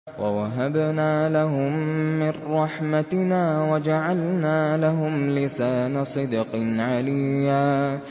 وَوَهَبْنَا لَهُم مِّن رَّحْمَتِنَا وَجَعَلْنَا لَهُمْ لِسَانَ صِدْقٍ عَلِيًّا